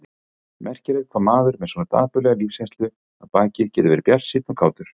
Merkilegt hvað maður með svona dapurlega lífsreynslu að baki getur verið bjartsýnn og kátur.